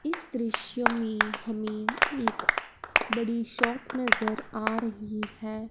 इस दृश्य में हमें एक बड़ी शॉप नजर आ रही है।